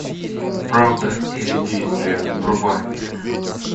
правда или действие врубай